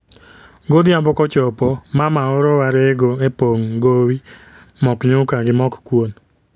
Godhiambo kochopo , mama oro wa rego e pong' gowi mok nyuka gi mok kwon